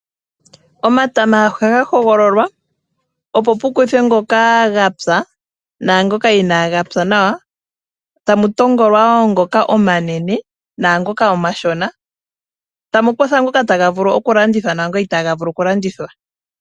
Omatama ohaga hogololowa opo pu kuthwe ngoka gapya , naangoka inaga pya nawa. Tamu hogolwa wo ngoka omanene naangoka omashona, tamu kuthwa ngoka taga vulu oku landithwa naangoka itaaga vulu oku landithwa.